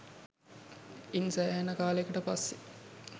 ඉන් සෑහෙන කාලයකට පස්සෙ